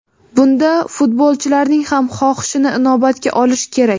bunda futbolchilarning ham xohishini inobatga olish kerak.